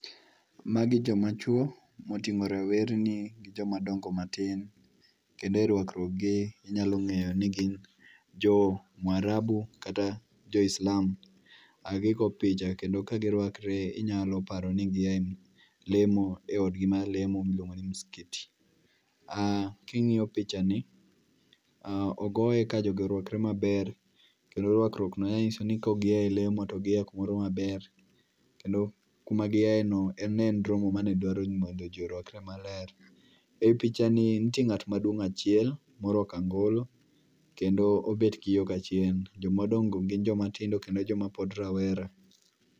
Magi joma chuo moting'o rawerni gi joma dongo matin kendo e rwakruogi inyalo ng'eyo ni gin jo Mwarabu kata jo Islam. Gigo picha kendo ka girwakre inyalo paro ni gia elemo eodgi mar lemo miluogo ni msikiti. King'iyo pichani, ogoye kajogi orwakre maber kendo rwakruok gi nyiso ni kaok gia elemo to gia kumoro maber kendo kuma giayeno en romo mane dwaroni mondo ji rwakre maler. Ei pichani nitie ng'at maduong' achiel morwako angolo kendo obet gi yo kachien. Joma odong' go gin joma tindo kendo joma pod rawera.